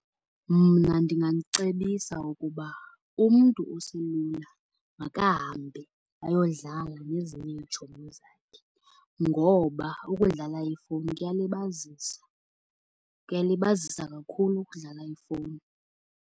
Mna ndinganicebisa ukuba umntu oselula makahambe ayodlala nezinye iitshomi zakhe, ngoba ukudlala ifowuni kuyalibazisa. Kuyalibazisa kakhulu ukudlala ifowuni.